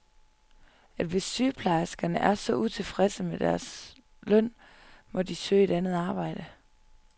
At hvis sygeplejerskerne er så utilfredse med deres løn, må de søge andet arbejde.